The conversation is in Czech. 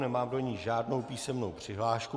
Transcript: Nemám do ní žádnou písemnou přihlášku.